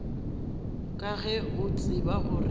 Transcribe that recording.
ka ge o tseba gore